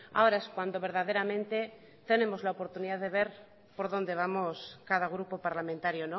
ahora es cuando verdaderamente tenemos la oportunidad de ver por donde vamos cada grupo parlamentario